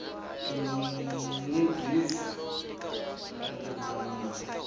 tinyibyisa hi ririmi ra manana